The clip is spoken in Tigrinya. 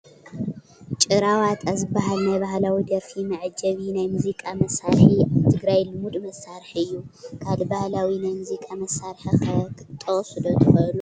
ጭራ ዋጣ ዝበሃል ናይ ባህላዊ ደርፊ መዓጀቢ ናይ ሙዚቃ መሳርሒ ኣብ ትግራይ ልሙድ መሳርሒ እዩ፡፡ ካልእ ባህላዊ ናይ ሙዚቃ መሳርሒ ከ ክትጠቕሱ ዶ ትኽእሉ?